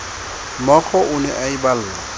mookgo o ne a iballa